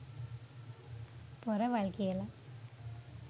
පොරවල් කියලා.